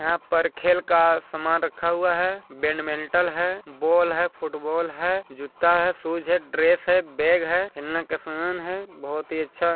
यहाँ पर खेल का सामान रखा हुआ है बेडमिण्टल है बोल है फूटबोल है जुत्ता है शूज है ड्रेस है बेग है बहुत ही अच्छा--